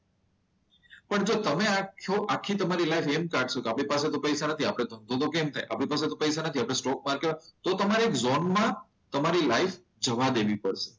પણ તમે જો આ જ છો તમે તમારે આખી લાઈફ એમ કાઢશો. કે આપણી પાસે તો પૈસા નથી આપણે તો ધંધો કેમ થાય. આપણી પાસે તો પૈસા નથી આપણે સ્ટોક માર્કેટ તો તમારે જોનમાં તમારી લાઈફ જવા દેવી પડે.